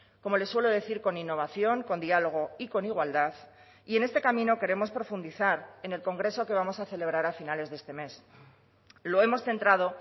como les suelo decir con innovación con diálogo y con igualdad y en este camino queremos profundizar en el congreso que vamos a celebrar a finales de este mes lo hemos centrado